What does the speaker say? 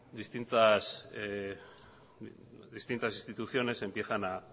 distintas instituciones empiezan a